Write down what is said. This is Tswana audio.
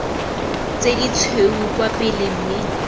tse ditshweu kwa pele mme